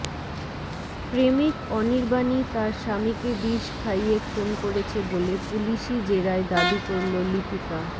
প্রেমিক অনির্বাণই তার স্বামীকে বিষ খাইয়ে খুন করেছে বলে পুলিশি জেরায় দাবি করল লিপিকা